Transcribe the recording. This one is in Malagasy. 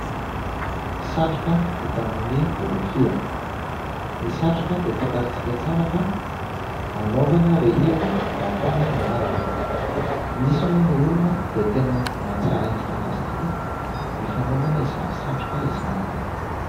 Satroka vita amin'ny rofia, ny satroka dia fantantsika tsara fa hanaovana rehefa mafana ny andro, misy moa ny olona dia tena mahatsara endrika an'azy tokoa ny fanaovana izany satroka izany.